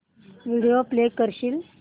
video play करशील